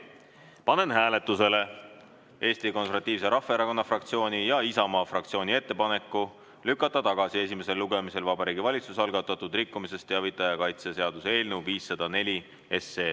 Panen hääletusele Eesti Konservatiivse Rahvaerakonna fraktsiooni ja Isamaa fraktsiooni ettepaneku lükata tagasi esimesel lugemisel Vabariigi Valitsuse algatatud rikkumisest teavitaja kaitse seaduse eelnõu 504.